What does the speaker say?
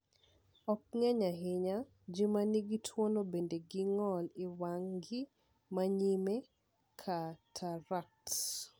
Ok ng’eny ahinya, ji ma nigi tuwono bedo gi ng’ol e wang’gi ma nyime (katarakt).